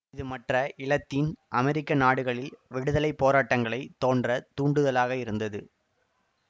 இது மற்ற இலத்தீன் அமெரிக்க நாடுகளில் விடுதலை போராட்டங்கள் தோன்ற தூண்டுதலாக இருந்தது